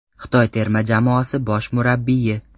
Xitoy terma jamoasi bosh murabbiyi.